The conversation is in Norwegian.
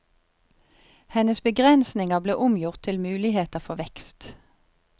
Hennes begrensninger ble omgjort til muligheter for vekst.